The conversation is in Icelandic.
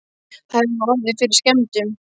Það hefur ekki orðið fyrir skemmdum?